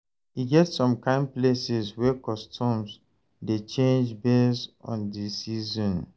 E get som kain places wey customs dey change based on de season